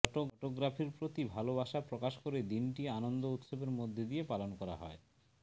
ফটোগ্রাফির প্রতি ভালোবাসা প্রকাশ করে দিনটি আনন্দ উৎসবের মধ্য দিয়ে পালন করা হয়